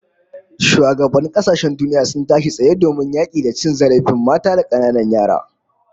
Shugabannin kasashen duniya sun tashi tsaye domin yaki da cin zarafin mata da kananan yara